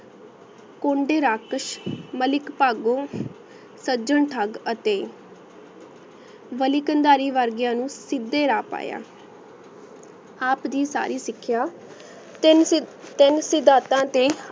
ਕੁੰਡੀ ਰਾਕੇਸ਼ ਮਲਿਕ ਪਗੁ ਸਾਜਨ ਠਾਗ ਅਤੀ ਵਾਲੀ ਕੰਧਾਰੀ ਵਰ੍ਗੀਯ ਨੂ ਸੀਡੀ ਰਾਹ ਪਾਯਾ ਆਪ ਦੀ ਸਰ੍ਰੀ ਸਿਕ੍ਯ ਤੀਨ ਸਿਬ ਤੀਨ ਸੀ ਦਾਤਾ ਤੇ